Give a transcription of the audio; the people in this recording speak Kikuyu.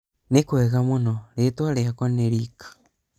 nĩkwega mũno, rĩtwa rĩakwa nĩ Rick